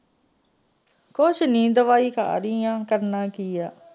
ਕੁਝ ਨਹੀਂ ਦਵਾਈ ਖਾਂ ਰਹੀ ਹਾਂ ਕਰਨਾ ਕਿ ਹੈ।